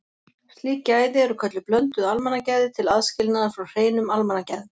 Slík gæði eru kölluð blönduð almannagæði til aðskilnaðar frá hreinum almannagæðum.